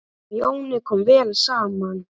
Þeim Jóni kom vel saman.